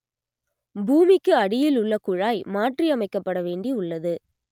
பூமிக்கு அடியில் உள்ள குழாய் மாற்றி அமைக்கப்பட வேண்டி உள்ளது